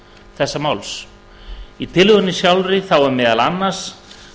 þessa máls í tillögunni sjálfri er meðal annars